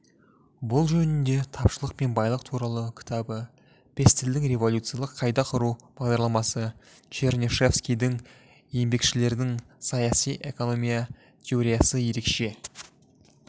бұл жөнінде тапшылық пен байлық туралы кітабы пестельдің революциялық қайта құру бағдарламасы чернышевскийдің еңбекшілердің саяси экономия теориясыерекше